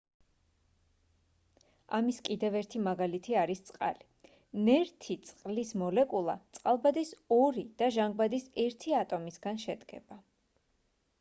ამის კიდევ ერთი მაგალითი არის წყალი ნერთი წყლის მოლეკულა წყალბადის ორი და ჟანგბადის ერთი ატომისგან შედგება